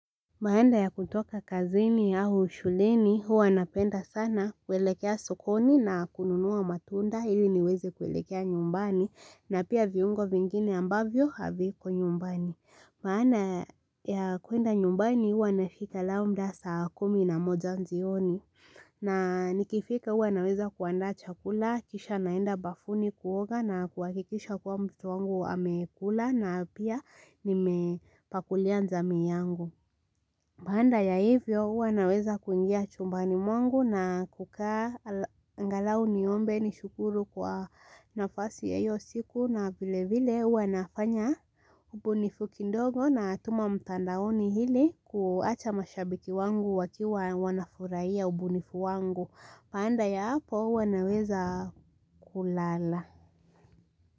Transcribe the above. Baada ya kutoka kazini au shuleni huwa napenda sana kuelekea sukoni na kununua matunda ili niweze kuelekea nyumbani na pia viungo vingine ambavyo haviko nyumbani. Baada ya kuenda nyumbani huwa nafika labda saa kumi na moja jioni na nikifika huwa naweza kuandaa chakula, kisha naenda bafuni kuoga na kuhakikisha kuwa mtoto wangu amekula na pia nimepakulia jamii yangu. Baada ya hivyo huwa naweza kuingia chumbani mwangu na kukaa angalau niombe ni shukuru kwa nafasi ya hiyo siku na vile vile huwa nafanya ubunifu kidogo natuma mtandaoni ili kuacha mashabiki wangu wakiwa wanafurahia ubunifu wangu. Baada ya hapo huwa naweza kulala.